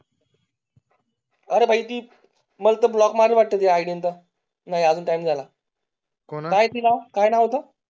अरे भाई ते ब्लॉक मारला वाटो नाही हाजून टाइम जाला कोणाला काय नाव ते